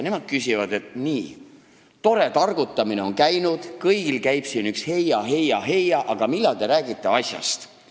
Nemad küsivad, et nii, tore targutamine on olnud, kõigil käib siin üks heia-heia-heia, aga millal te räägite asjast.